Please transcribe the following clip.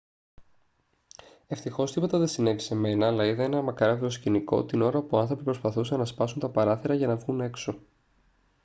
ευτυχώς τίποτα δεν συνέβη σε μένα αλλά είδα ένα μακάβριο σκηνικό την ώρα που άνθρωποι προσπαθούσαν να σπάσουν τα παράθυρα για να βγουν έξω